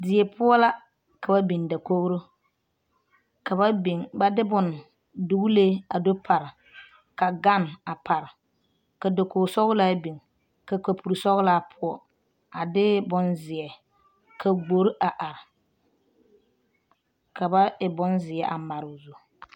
Die poɔ la ka ba biŋ dakoɡro ka ba biŋ ba de bone duɡilee a do pare ka ɡane a pare ka dakoɡisɔɡelaa biŋ ka kaporisɔɡelaa poɔ a de bonzeɛ ka ɡbor a are ka ba e bonzeɛ a mare o zu.